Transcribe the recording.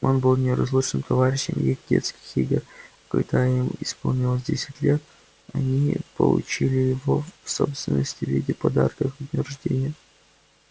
он был неразлучным товарищем их детских игр а когда им исполнилось десять лет они получили его в собственность в виде подарка ко дню рождения